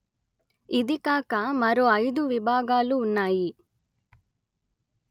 ఇది కాక మరో ఐదు విభాగాలు ఉన్నాయి